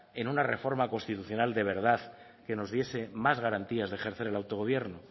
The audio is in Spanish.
en una reforma constitucional de verdad que nos diese más garantías de ejercer el autogobierno